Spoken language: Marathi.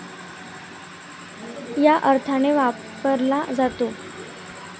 या अर्थाने वापरला जातो.